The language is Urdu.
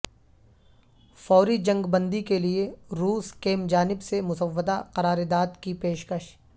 فوری جنگ بندی کےلیے روس کیم جانب سے مسودہ قرارداد کی پیشکش